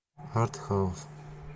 артхаус